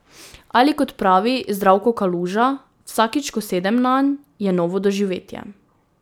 Ali kot pravi Zdravko Kaluža: 'Vsakič, ko sedem nanj, je novo doživetje.